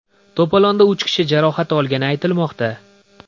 To‘polonda uch kishi jarohat olgani aytilmoqda.